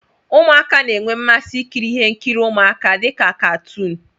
Ụmụaka na-enwe mmasị ikiri ihe nkiri ụmụaka dị ka katuun.